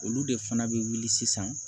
Olu de fana bɛ wuli sisan